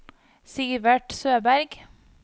Sivert Søberg